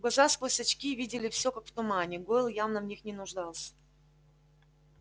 глаза сквозь очки видели всё как в тумане гойл явно в них не нуждался